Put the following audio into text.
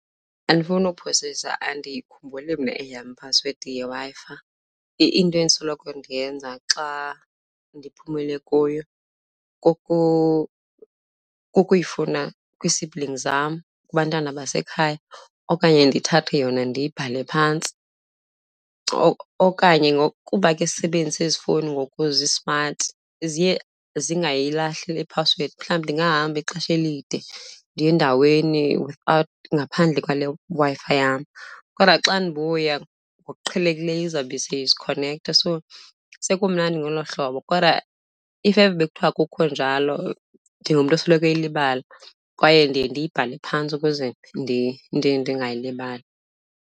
Andifuni uphosisa andiyikhumbuli mna eyam iphasiwedi yeWi-Fi. Into endisoloko ndiyenza xa ndiphumile kuyo kukuyifuna kwii-siblings zam, kubantwana basekhaya, okanye ndithathe yona ndiyibhale phantsi. Okanye ngoku kuba ke sisebenzisa ezi fowuni ngoku zismati ziye zingayilahli le phasiwedi. Mhlawumbi ndingahamba ixesha elide ndiye endaweni ngaphandle kwale Wi-Fi yam kodwa xa ndibuya ngokuqhelekileyo izawube seyizikhonektha. So sekumnandi ngolo hlobo kodwa if ever bekuthiwa akukho njalo, ndingumntu osoloko eyilibala kwaye ndiye ndiyibhale phantsi ukuze ndingayilibali.